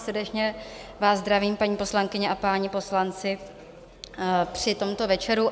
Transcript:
Srdečně vás zdravím, paní poslankyně a páni poslanci, při tomto večeru.